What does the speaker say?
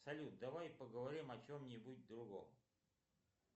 салют давай поговорим о чем нибудь другом